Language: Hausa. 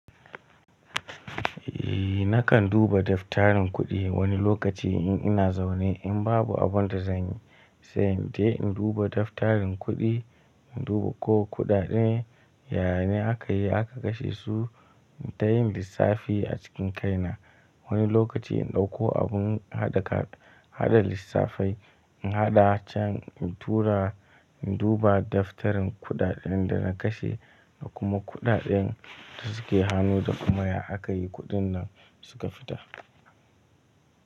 Eh nakan duba daftarin kuɗi wani lokaci in ina zaune in babu abun da zan yi, sai dai in duba daftarin kuɗi, in duba ko kuɗaɗen yaane akayi aka kashe su, in tayin lissafi a cikin kaina. Wani lokaci in ɗauko abun haɗa lissafai, in haɗa can, in tura, in duba daftarin kuɗaɗen da na kashe da kuma kuɗaɗen da suke hanu da kuma ya aka yi kuɗin nan suka fita.